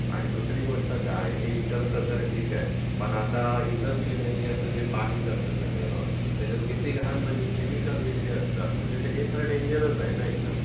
आणि सुसरी गोष्ट काय? हे इकडचं तर ठीक आहे पण आता इंडस्ट्रियल एरियाचं पाणी जातं सगळं त्यात किती घाण म्हणजे केमिकल वगैरे असतात म्हणजे हे तर डेंजरस आहे न एकदम.